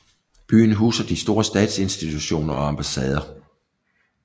Byen huser de store statsinstitutioner og ambassader